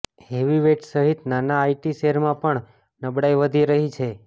heavyweights સહિત નાના IT શેરમાં પણ નબળાઇ વધી રહી છે